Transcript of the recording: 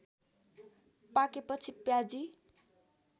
पाकेपछि प्याजी